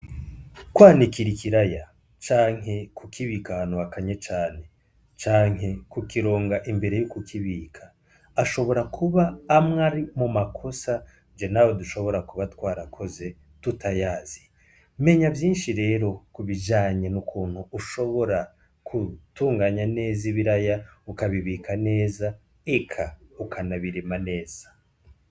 Kwanikira ikiraya, canke kukibika ahantu hakanye cane, canke kukironga imbere yo kukibika ,ashobora kuba amwe ari mumakosa jewe nawe dushobora kuba twarakoze tutayazi, menya vyinshi rero kubijanye n'ukuntu ushobora gutunganya neza ibiraya ,ukabibika neza eka ukanabirima neza.